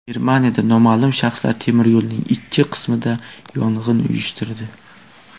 Germaniyada noma’lum shaxslar temiryo‘lning ikki qismida yong‘in uyushtirdi.